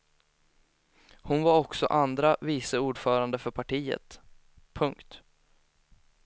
Hon var också andra vice orförande för partiet. punkt